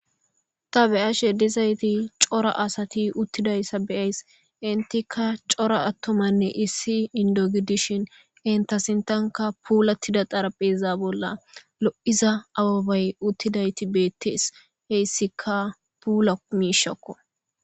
Ta be'ashe dizayti cora asati uttidayssa beyays intika cora attomanne issi indo gidishin inta sintanka puulattida xarapheza bolla lo'iza awabay uttidayti beettees heyssikka puula miishakko.